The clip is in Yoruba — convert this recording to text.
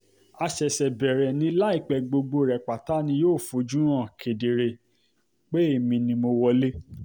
a ṣẹ̀ṣẹ̀ bẹ̀rẹ̀ ni láìpẹ́ gbogbo rẹ̀ pátá ni yóò fojú hàn kedere pé èmi ni mo wọlé